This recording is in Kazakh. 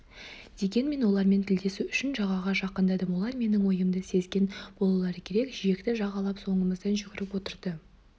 дегенмен олармен тілдесу үшін жағаға жақындадым олар менің ойымды сезген болулары керек жиекті жағалап соңымыздан жүгіріп отырды